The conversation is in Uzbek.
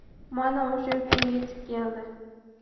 mana o‘sha kun yetib keldi.